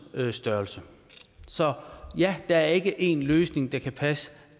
størrelse så ja der er ikke en løsning der kan passe